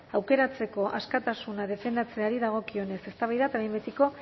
aukeratzeko askatasuna defendatzeari dagokionez eztabaida eta behin betiko